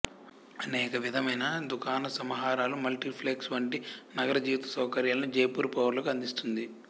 అనేక విధమైన దుకాణసమాహారాలు మల్టీప్లెక్ష్ వంటి నగరజీవిత సౌకర్యాలను జైపూర్ పౌరులకు అందిస్తుంది